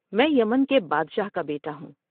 میں یمن کے بادشاہ کا بیٹا ہوں ۔